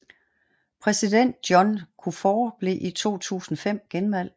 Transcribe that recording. Præsident John Kufour blev i 2005 genvalgt